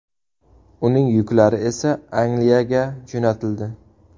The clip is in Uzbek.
Uning yuklari esa Angliyaga jo‘natildi.